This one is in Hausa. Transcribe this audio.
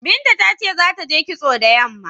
Binta ta ce za ta je kitso da yamma.